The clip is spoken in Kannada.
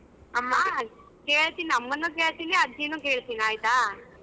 ಕೇಳ್ತೀನಿ ಅಮ್ಮನ್ನು ಕೇಳ್ತೀನಿ ಅಜ್ಜಿನು ಕೇಳ್ತೀನಿ ಆಯ್ತಾ.